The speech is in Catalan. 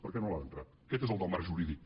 per què no l’han entrat aquest és el del marc jurídic